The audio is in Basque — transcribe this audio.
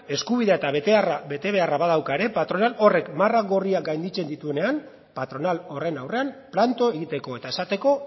eskubidea eta betebeharra badauka ere patronal horrek marra gorriak gainditzen dituenean patronal horren aurrean planto egiteko eta esateko